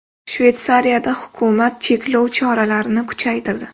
Shveysariyada hukumat cheklov choralarini kuchaytirdi.